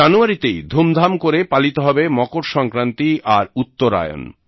জানুয়ারীতেই ধুমধাম করে পালিত হবে মকর সংক্রান্তি আর উত্তরায়ন